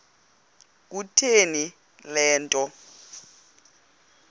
kutheni le nto